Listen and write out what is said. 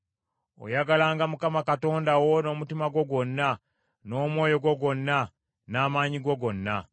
Oyagalanga Mukama Katonda wo n’omutima gwo gwonna, n’omwoyo gwo gwonna, n’amaanyi go gonna.